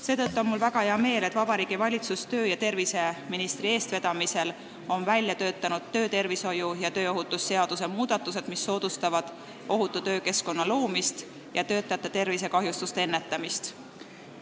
Seetõttu on mul väga hea meel, et Vabariigi Valitsus on töö- ja terviseministri eestvedamisel välja töötanud töötervishoiu ja tööohutuse seaduse muudatused, mis soodustavad ohutu töökeskkonna loomist ja töötajate tervisekahjustuste ennetamist.